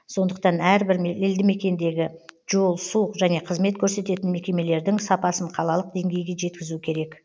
сондықтан әрбір елдімекендегі жол су және қызмет көрсететін мекемелердің сапасын қалалық деңгейге жеткізу керек